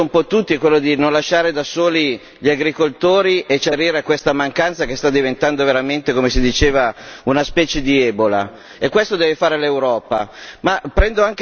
Quello che hanno detto un po' tutti è di non lasciare da soli gli agricoltori e cercare di sopperire a questa mancanza che sta diventando veramente, come si diceva, una specie di ebola e questo deve fare l'Europa.